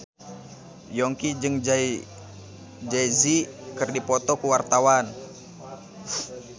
Yongki jeung Jay Z keur dipoto ku wartawan